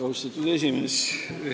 Austatud juhataja!